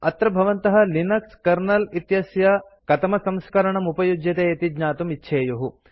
अत्र भवन्तः Linux kernel इत्यस्य कतमसंस्करणम् उपयुज्यते इति ज्ञातुं इच्छेयुः